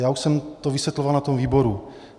Já už jsem to vysvětloval na tom výboru.